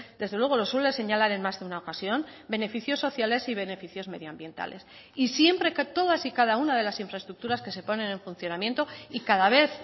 desde luego lo suele señalar en más de una ocasión beneficios sociales y beneficios medio ambientales y siempre que todas y cada una de las infraestructuras que se ponen en funcionamiento y cada vez